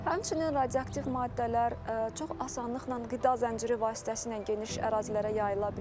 Həmçinin radioaktiv maddələr çox asanlıqla qida zənciri vasitəsilə geniş ərazilərə yayıla bilir.